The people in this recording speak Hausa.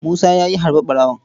Musa ya yi harbi ɓarawon.